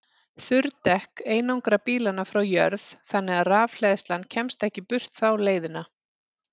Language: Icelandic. Þurr dekk einangra bílana frá jörð þannig að rafhleðslan kemst ekki burt þá leiðina.